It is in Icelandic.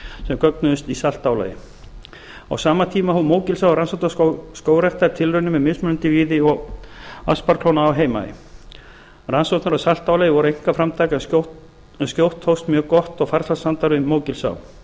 sem gögnuðust í saltálagi á sama tíma hóf mógilsá rannsóknastöð skógræktar tilraunir með mismunandi víði og asparklóna á heimaey rannsóknir á saltálagi voru einkaframtak en skjótt tókst mjög gott og farsælt samstarf við mógilsá rannsóknir